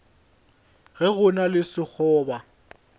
ge go na le sekgoba